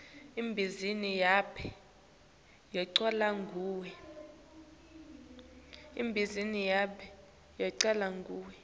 ibhizinisi yababe yacalwa nguye